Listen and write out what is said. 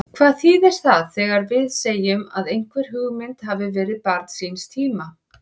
Hvað þýðir það þegar við segjum að einhver hugmynd hafi verið barn síns tíma?